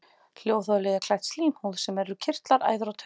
Hljóðholið er klætt slímhúð sem í eru kirtlar, æðar og taugar.